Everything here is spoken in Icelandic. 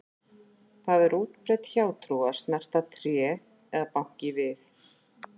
Það er útbreidd hjátrú að snerta tré eða banka í við.